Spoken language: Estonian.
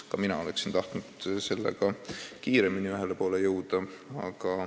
Ka mina oleksin tahtnud sellega kiiremini ühele poole jõuda.